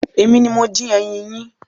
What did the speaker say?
Èmi ni mo dín ẹyin yín.